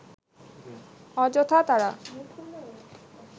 অযথা তারা